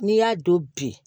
N'i y'a don bi